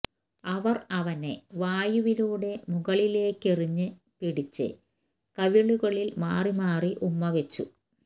അവർ അവനെ വായുവിലൂടെ മുകളിലേക്കെറിഞ്ഞ് പിടിച്ച് കവിളുകളിൽ മാറി മാറി ഉമ്മവെച്ചു